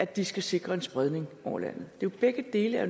de skal sikre en spredning over landet begge dele er